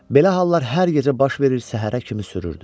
Belə hallar hər gecə baş verir, səhərə kimi sürürdü.